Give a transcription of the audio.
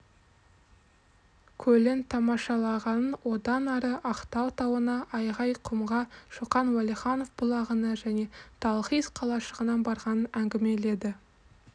көлін тамашалағанын одан ары ақтау тауына айғайқұмға шоқан уәлиханов бұлағына және талхиз қалашығына барғанын әңгімеледі